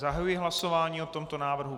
Zahajuji hlasování o tomto návrhu.